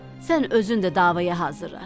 Sən özün də davaya hazırlaş.